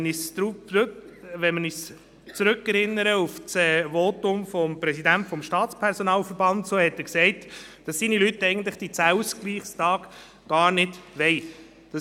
Wenn wir uns an das Votum des Präsidenten des Staatspersonalverbands erinnern, so hat er gesagt, dass seine Leute die 10 Ausgleichstage eigentlich gar nicht wollen.